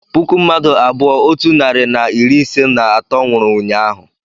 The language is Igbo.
puku mmadụ abụọ otu narị na iri ise na atọ nwụrụ ụnyaahụ